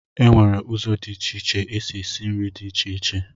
Enwere ụzọ dị iche iche esi esi nri dị iche iche.